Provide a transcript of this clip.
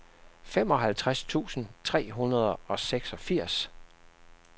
femoghalvtreds tusind tre hundrede og seksogfirs